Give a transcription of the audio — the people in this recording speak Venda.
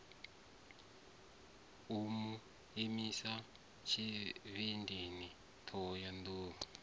u mu milisa tshivhindi thohoyanḓ